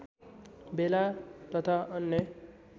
बेला तथा अन्य